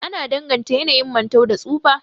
Ana danganta yanayin mantau da tsufa